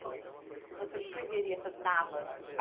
Como que você descreveria essas Navas?